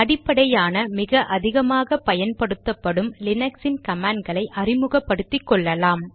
அடிப்படையான மிக அதிகமாக பயன்படுத்தப்படும் லீனக்ஸின் கமாண்ட் களை அறிமுகப்படுத்திக்கொள்ளலாம்